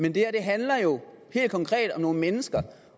men det her handler jo helt konkret om nogle mennesker